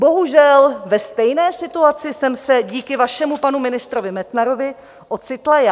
Bohužel ve stejné situaci jsem se díky vašemu panu ministrovi Metnarovi ocitla já.